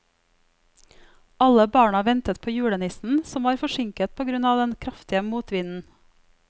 Alle barna ventet på julenissen, som var forsinket på grunn av den kraftige motvinden.